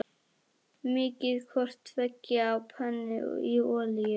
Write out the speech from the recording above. Mýkið hvort tveggja á pönnu í olíu.